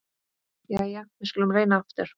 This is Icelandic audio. Jæja, við skulum reyna aftur.